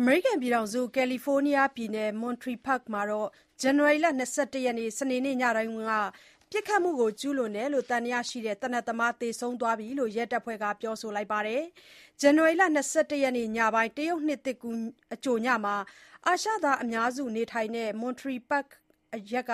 အမေရိကန်ပြည်ထောင်စု ကာလီဖိုးနီးယားပြည်နယ် Monterey Park မှာ ဇန်နဝါရီ ၂၁ ရက်၊ စနေနေ့ညပိုင်းက ပစ်ခတ်မှုကျူးလွန်တယ်လို့ သံသယရှိ သေနတ်သမားသေဆုံးသွားပြီလို့ ရဲတပ်ဖွဲ့ကပြောပါတယ်။ ဇန်နဝါရီ ၂၁ ရက်ညပိုင်း တရုတ်နှစ်သစ်ကူးအကြိုည အာရှသားအများစုနေထိုင်တဲ့ Monterey Park အရပ်က